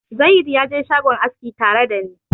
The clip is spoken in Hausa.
Zayid ya je shagon aski tare da ni.